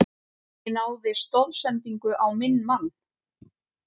Ég náði stoðsendingu á minn mann.